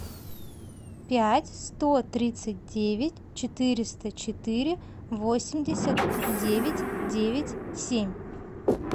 пять сто тридцать девять четыреста четыре восемьдесят девять девять семь